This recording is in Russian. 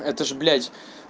это ж блядь